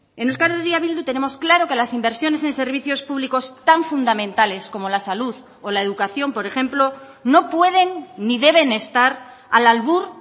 en euskal herria bildu tenemos claro que las inversiones en servicios públicos tan fundamentales como la salud o la educación por ejemplo no pueden ni deben estar al albur